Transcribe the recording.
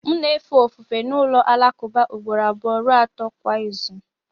M na-efe ofufe n'ụlọ alakụba ugboro abụọ ruo atọ kwa izu